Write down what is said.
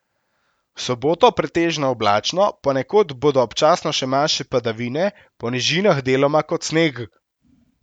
V soboto pretežno oblačno, ponekod bodo občasno še manjše padavine, po nižinah deloma kot sneg.